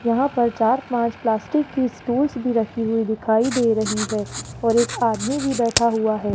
यहां पर चार पांच प्लास्टिक की स्टूल्स भी रखी हुई दिखाई दे रही है और एक आदमी भी बैठा हुआ है।